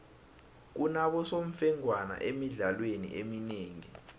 kunabosemfengwana emidlalweni eminengi